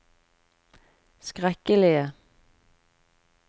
skrekkelige